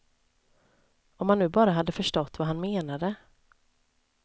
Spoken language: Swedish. Om man nu bara hade förstått vad han menade.